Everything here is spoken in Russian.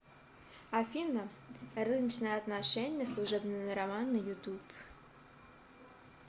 афина рыночные отношения служебный роман на ютуб